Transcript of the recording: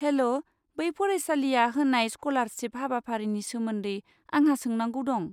हेल' बे फरायसालिया होनाय स्क'लारशिफ हाबाफारिनि सोमोन्दै आंहा सोंनांगौ दं।